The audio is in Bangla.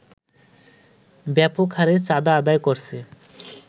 ব্যাপকহারে চাঁদা আদায় করছে